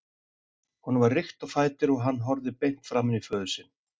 Honum var rykkt á fætur og hann horfði beint framan í föður sinn.